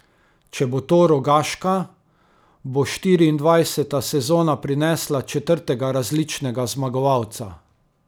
Če bo to Rogaška, bo štiriindvajseta sezona prinesla četrtega različnega zmagovalca.